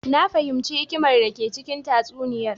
Na fahimci hikimar dake cikin tatsuniyar.